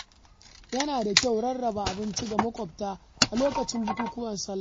Yana da kyau rarraba abinci ga maƙwabta a lokacin bukukuwan salla.